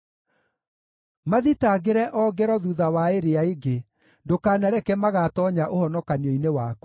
Mathitangĩre o ngero thuutha wa ĩrĩa ĩngĩ; ndũkanareke magatoonya ũhonokanio-inĩ waku.